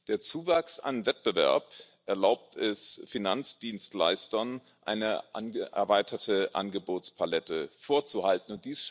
Der Zuwachs an Wettbewerb erlaubt es Finanzdienstleistern, eine erweiterte Angebotspalette vorzuhalten.